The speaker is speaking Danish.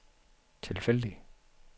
tilfældig